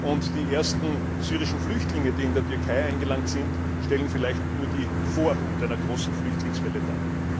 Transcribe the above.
Und die ersten syrischen Flüchtlinge, die in der Türkei eingelangt sind, stellen vielleicht nur die Vorhut einer großen Flüchtlingswelle dar.